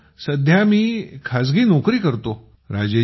sir सध्या मी खाजगी नोकरी करतो